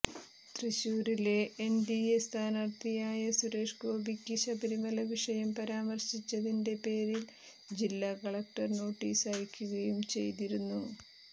തൃശൂരിലെ എൻഡിഎ സ്ഥാനാർഥിയായ സുരേഷ് ഗോപിക്ക് ശബരിമല വിഷയം പരാമർശിച്ചതിന്റെ പേരിൽ ജില്ലാ കളക്ടർ നോട്ടീസ് അയക്കുകയും ചെയ്തിരുന്നു